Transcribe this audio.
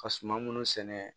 Ka suma minnu sɛnɛ